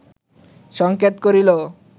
সংকেত করিল